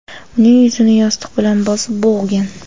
uning yuzini yostiq bilan bosib, bo‘g‘gan.